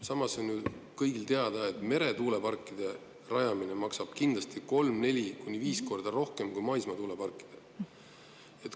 Samas on ju kõigile teada, et meretuuleparkide rajamine maksab kindlasti kolm, neli, kuni viis korda rohkem kui maismaatuuleparkide rajamine.